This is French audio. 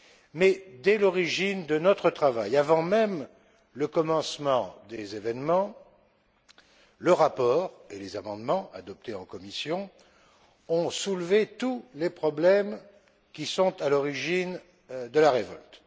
Mais, dès l'origine de notre travail, avant même le commencement des événements, le rapport et les amendements adoptés en commission ont soulevé tous les problèmes qui sont à l'origine de la révolte.